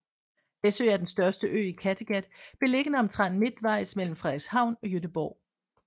Læsø er den største ø i Kattegat beliggende omtrent midtvejs mellem Frederikshavn og Gøteborg